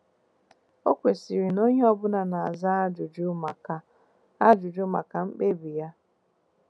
O kwesịrị na onye ọbụla na-aza ajụjụ maka ajụjụ maka mkpebi ya?